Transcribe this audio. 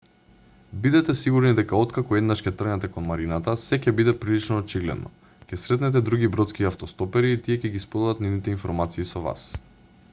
бидете сигурни дека откако еднаш ќе тргнете кон марината сѐ ќе биде прилично очигледно. ќе сретнете други бродски автостопери и тие ќе ги споделат нивните информации со вас